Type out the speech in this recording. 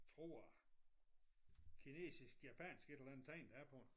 Tror kinesisk japansk et eller adnet tegn der er på den